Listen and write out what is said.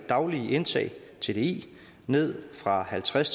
daglige indtag tdi ned fra halvtreds